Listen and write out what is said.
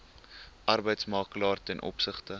arbeidsmakelaar ten opsigte